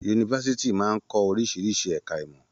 Yunifásítì máa n kọ oríṣiríṣi ẹka ìmọ̀.